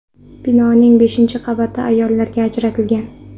Binoning beshinchi qavati ayollarga ajratilgan.